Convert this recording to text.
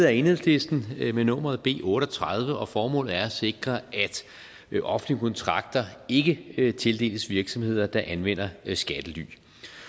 af enhedslisten med nummeret b otte og tredive og formålet er at sikre at offentlige kontrakter ikke ikke tildeles virksomheder der anvender skattely